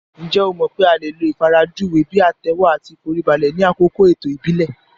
Ǹjẹ́ o mọ̀ pé a lè lo ìfarajúwe bíi àtẹ́wọ́ àti ìforíbalẹ̀ ni àkókò ètò ìbílẹ̀